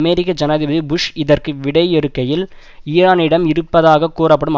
அமெரிக்க ஜனாதிபதி புஷ் இதற்கு விடையறுக்கையில் ஈரானிடம் இருப்பதாக கூறப்படும்